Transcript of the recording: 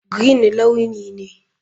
Green launi ne.